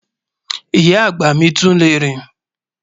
Ìyá agba mi tún le rín